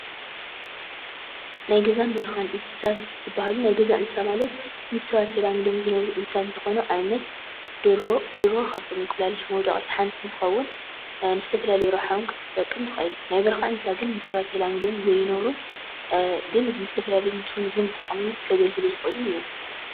ናይ ገዛን በረኻን እንስሳት ናይ ገዛን በረኻን እንስሳት ዝበሃሉ ናይ ገዛ እንስሳት ማለት ምስ ሰብ ዝተላመዱ ዝነብሩ እንስሳት እንትኮኑ ንአብነት ደርሆ፣ ደርሆ ካብቶም እንቁላሊሕ መውደቂት ሓንቲ እንትኸውን ንዝተፈላለየ ረብሓ እውን ክትጠቅም ትክእል፡፡ ናይ በረካ እንስሳት ግን ምስ ሰብ ተላሚዶም ዘይነብሩን ግን ንዝተፈላለዩ ቱሪዝም ጥቅሚ ከገልግሉ ዝክእሉን እዮም፡፡